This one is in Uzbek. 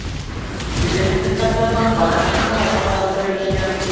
Tibet haqiqatdan ham baland Himolay tog‘larida joylashgan.